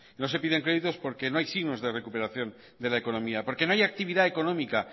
no se piden créditos porque no hay signos de recuperación de la economía porque no hay actividad económica